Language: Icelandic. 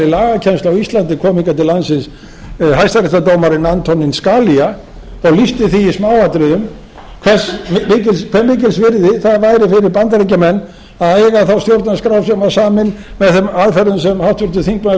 á íslandi kom hingað til landsins hæstaréttardómarinn antonin scalia og lýsti því í smáatriðum hve mikils virði það væri fyrir bandaríkjamenn að eiga þá stjórnarskrá sem samin var með þeim aðferðum sem háttvirtur þingmaður